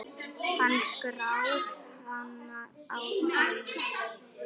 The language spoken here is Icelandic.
Hann skar hana á háls.